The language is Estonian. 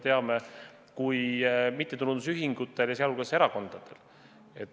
Seda on ka Riigikohus leidnud, nagu me teame.